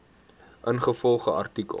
ingevolge artikel